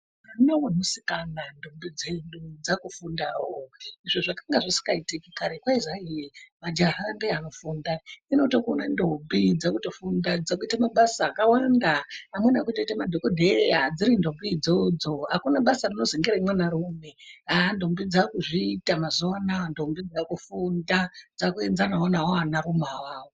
Mwana wemusikana , ndombi dzedu dzakufundawo izvo zvakanga zvisingaitiki karetu kwaizi kwai majaha ndiwo anofunda, takuona ndombi dzakutofunda dzakuite mabasa akawanda amweni akutoite madhokodheya dziri ndombi idzodzo akuna basa rinozi ngeremwanarume, ah ndombi dzakuzviita mazuwa anaa ndombi dzakufufunda dzakuenzanawo nawo anarume awawo.